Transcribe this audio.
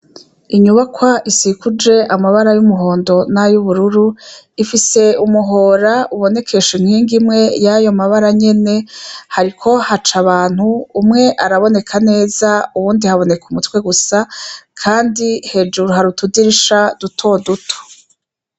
Inyubakwa isikuje amabara y’umuhondo nayubururu ifise umuhora ubonekesha inkingi imwe yayo mabara nyene, hariko haca abantu umwe araboneka neza uyundi haboneka umutwe gusa kandi hejuru hari utudirisha duto duto.